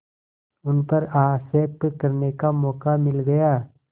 उन पर आक्षेप करने का मौका मिल गया